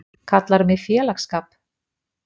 Kallarðu mig félagsskap?!